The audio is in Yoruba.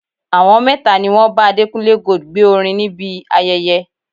Àwọn mẹ́ta ni wọn bá Adékúnlé Gold gbé orin níbi ayẹyẹ.